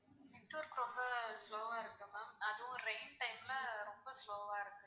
network ரொம்ப slow வா இருக்கு ma'am அதுவும் rain time ல ரொம்ப slow வா இருக்கு.